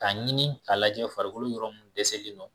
K'a ɲini k'a lajɛ farikolo yɔrɔ munnu dɛsɛlen nɔ.